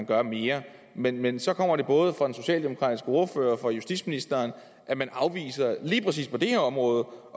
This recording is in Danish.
gøre mere men men så kommer det både fra den socialdemokratiske ordfører og fra justitsministeren at man lige præcis på det her område